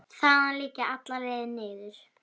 Þaðan liggja allar leiðir niður.